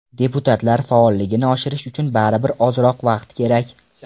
Deputatlar faolligini oshirish uchun baribir ozroq vaqt kerak.